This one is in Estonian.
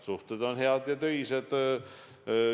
Suhted on head ja töised.